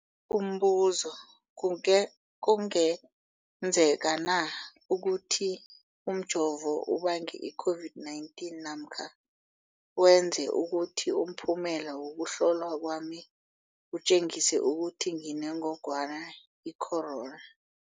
Umbuzo, kunge kungenzekana ukuthi umjovo ubange i-COVID-19 namkha wenze ukuthi umphumela wokuhlolwa kwami utjengise ukuthi nginengogwana i-corona?